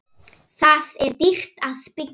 Þar er dýrt að byggja.